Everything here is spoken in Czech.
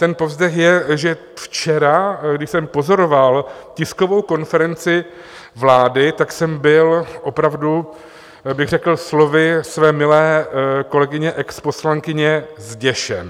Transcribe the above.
Ten povzdech je, že včera, když jsem pozoroval tiskovou konferenci vlády, tak jsem byl opravdu, bych řekl slovy své milé kolegyně exposlankyně, zděšen.